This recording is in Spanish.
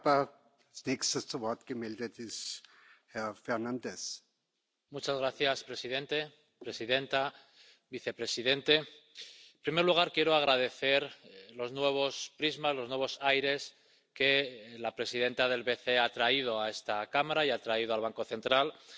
Señor presidente, presidenta, vicepresidente, en primer lugar, quiero agradecer los nuevos prismas, los nuevos aires que la presidenta del BCE ha traído a esta Cámara y ha traído al Banco Central Europeo.